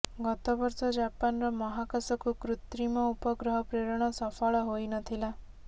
ଗତ ବର୍ଷ ଜାପାନର ମହାକାଶକୁ କୃତ୍ରିମ ଉପଗ୍ରହ ପ୍ରେରଣ ସଫଳ ହୋଇ ନ ଥିଲା